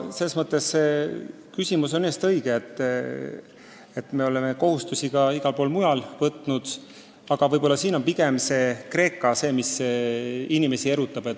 Selles mõttes aga on küsimus õige, et me oleme kohustusi ka mujal võtnud, aga jah, inimesi erutab eelkõige Kreeka teema.